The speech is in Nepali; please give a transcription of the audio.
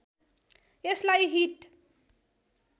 यसलाई हिट